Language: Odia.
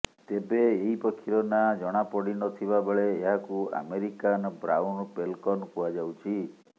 ତେବେ ଏହି ପକ୍ଷୀର ନାଁ ଜଣାପଡ଼ିନଥିବା ବେଳେ ଏହାକୁ ଆମେରିକାନ୍ ବ୍ରାଉନ୍ ପେଲ୍କନ୍ କୁହାଯାଉଛି